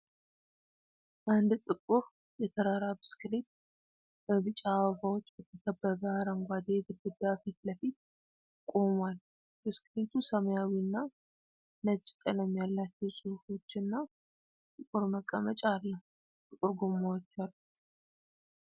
አንድ ጥቁር የተራራ ብስክሌት በቢጫ አበባዎች በተከበበ አረንጓዴ ግድግዳ ፊት ለፊት ቆሟል። ብስክሌቱ ሰማያዊና ነጭ ቀለም ያላቸው ጽሑፎች እና ጥቁር መቀመጫ አለው። ጥቁር ጎማዎች አሉት።